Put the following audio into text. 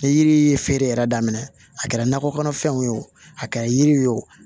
Ni yiri ye feere yɛrɛ daminɛ a kɛra nakɔ kɔnɔfɛnw ye o a kɛra yiri ye o